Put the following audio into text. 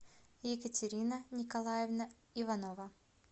екатерина николаевна иванова